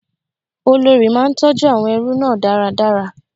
Olórí máa ń tọjú àwọn ẹrú náà dáradára.